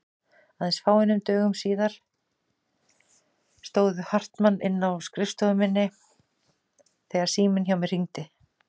Aðeins fáeinum dögum síðar stóð Hartmann inni á skrifstofu minni þegar síminn hjá mér hringdi.